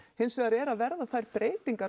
hins vegar er að verða þær breytingar